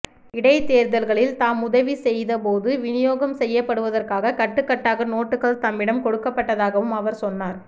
இடைத்தேர்தல்களில் தாம் உதவி செய்த போது விநியோகம் செய்யப்படுவதற்காக கட்டுக்கட்டாக நோட்டுக்கள் தம்மிடம் கொடுக்கப்பட்டதாகவும் அவர் சொன்னார்